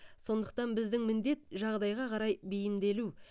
сондықтан біздің міндет жағдайға қарай бейімделу